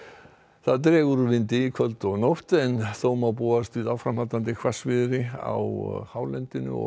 það dregur úr vindi í kvöld og nótt en þó má búast við áframhaldandi hvassviðri á hálendinu og